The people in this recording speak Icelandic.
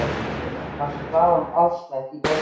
Thomas fann hraðan æðaslátt í gagnaugunum.